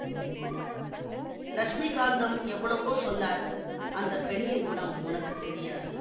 லக்ஷ்மிகாந்தம் எவ்வளவோ சொன்னார் அந்த பெண்ணின் குணம் உனக்கு தெரியாது